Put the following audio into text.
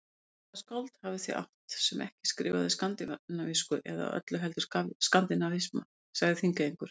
Hvaða skáld hafið þið átt, sem ekki skrifaði skandinavísku eða öllu heldur skandinavisma, sagði Þingeyingur.